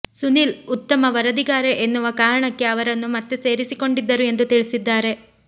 ಸುನಿಲ್ ಉತ್ತಮ ವರದಿಗಾರ ಎನ್ನುವ ಕಾರಣಕ್ಕೆ ಅವರನ್ನು ಮತ್ತೆ ಸೇರಿಸಿಕೊಂಡಿದ್ದರು ಎಂದು ತಿಳಿಸಿದ್ದಾರೆ